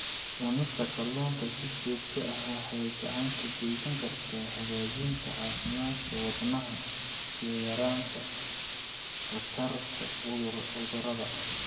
Cunista kalluunka si joogto ah waxay gacan ka geysan kartaa hagaajinta caafimaadka wadnaha iyo yaraynta khatarta cudurrada.